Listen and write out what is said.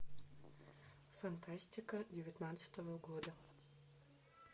фантастика девятнадцатого года